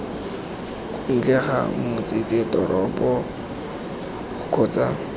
kwa ntle ga motsesetoropo kgotsa